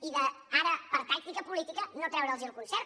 i ara per tàctica política no els hem de treure’ls el concert